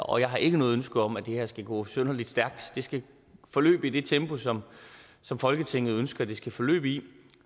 og jeg har ikke noget ønske om at det her skal gå synderlig stærkt det skal forløbe i det tempo som som folketinget ønsker det skal forløbe i